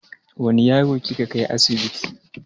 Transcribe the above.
Wane yaro kika kai asibiti?